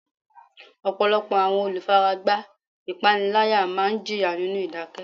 Ọ̀pọ̀lọpọ̀ àwọn olùfaragbá ìpániláyà máa ń jìyà nínú ìdákẹ́.